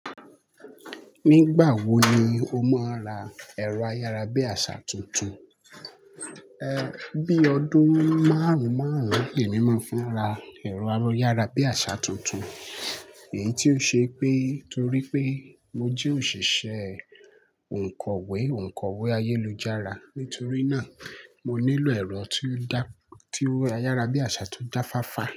Nígbà wo ni o máa ń ra ẹ̀rọ ayárabíàṣá tuntun? Bí ọdún márùn-ún márùn-ún, èmi máa ń fi nra ẹ̀rọ ayárabíàṣá tuntun, èyí tí ó ṣe pé torí pé mo jẹ́ òṣìṣẹ́ òǹkọ́wé, òǹkọ́wé ayélujára. Nítorí náà, mo nílò ẹ̀rọ tí ó dá, tí ó ayárabíàṣá tó jáfafa.